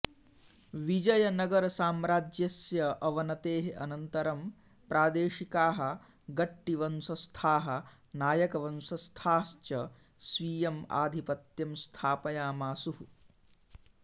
विजयनगरसाम्राज्यस्य अवनतेः अनन्तरं प्रादेशिकाः गट्टिवंशस्थाः नायकवंशस्थाः च स्वीयम् आधिपत्यं स्थापयामासुः